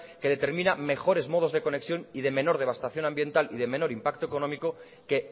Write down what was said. que determina mejores modos de conexión y de menor devastación ambiental y de menor impacto económico que